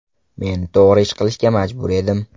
Men to‘g‘ri ish qilishga majbur edim.